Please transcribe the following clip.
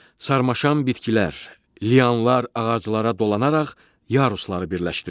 Sarmaşan bitkilər, lianlar ağaclara dolanaraq yarusları birləşdirir.